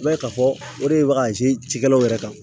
I b'a ye k'a fɔ o de bɛ cikɛlaw yɛrɛ kan